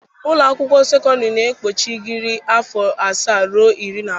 Ụlọ akwụkwọ sekọndrị na-ekpuchi egiri afọ asaa ruo iri na abụọ.